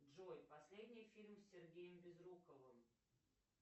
джой последний фильм с сергеем безруковым